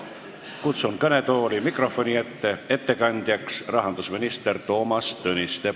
Kutsun ettekandjaks kõnetooli mikrofoni ette rahandusminister Toomas Tõniste.